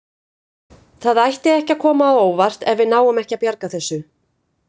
Það ætti ekki að koma á óvart ef við náum ekki að bjarga þessu.